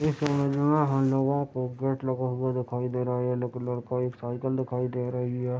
इस इमेज में हम लोगो को गेट लगा हुआ दिखाई दे रहा है ये लक-लड़का एक साइकिल दिखाई दे रही है |